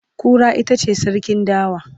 Kura itace sarkin dawa